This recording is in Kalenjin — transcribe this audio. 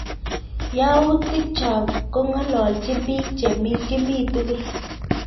Yautik chok kong'ololchin piik che kimi tukul